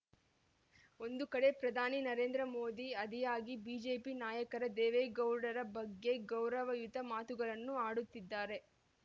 ಒಂದು ಕಡೆ ಪ್ರಧಾನಿ ನರೇಂದ್ರ ಮೋದಿ ಆದಿಯಾಗಿ ಬಿಜೆಪಿ ನಾಯಕರು ದೇವೇಗೌಡರ ಬಗ್ಗೆ ಗೌರವಯುತ ಮಾತುಗಳನ್ನು ಆಡುತ್ತಿದ್ದರೆ